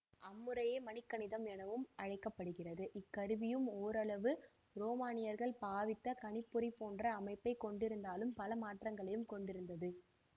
அம்முறையே மணிக்கணிதம் எனவும் அழைக்க படுகிறது இக்கருவியும் ஓரளவு ரோமானியர்கள் பாவித்த கணிப்பொறி போன்ற அமைப்பை கொண்டிருந்தாலும் பல மாற்றங்களையும் கொண்டிருந்தது